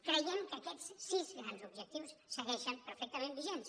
creiem que aquests sis grans objectius segueixen perfectament vigents